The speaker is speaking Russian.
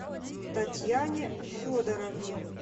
татьяне федоровне